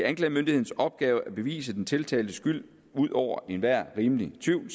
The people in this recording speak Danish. anklagemyndighedens opgave at bevise den tiltaltes skyld ud over enhver rimelig tvivl